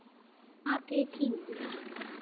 Athugið tímann.